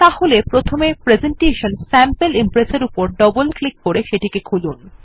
তাহলে প্রথমে presentation sample Impress এর উপর ডবল ক্লিক করে সেটি খুলুন